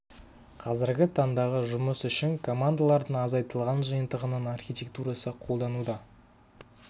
қазіргі таңдағы жұмыс үшін командалардың азайтылған жиынтығының архитектурасы қолдануда